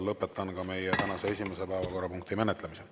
Lõpetan ka meie tänase esimese päevakorrapunkti menetlemise.